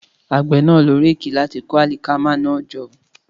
Àgbẹ̀ náà lo réèkì láti kó àlìkámà náà jọ